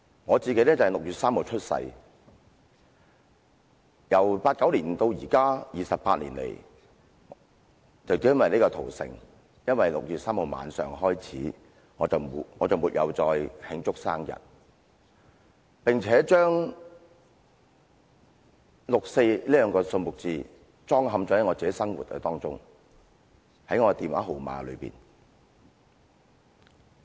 我在6月3日出生，自1989年至今的28年來，因為6月3日晚上屠城開始，我就沒有再慶祝生日，並且把"六四"這兩個數字鑲嵌在自己的生活之中，即是我的電話號碼。